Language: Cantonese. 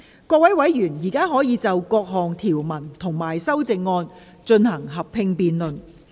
各位委員現在可以就各項條文及修正案，進行合併辯論。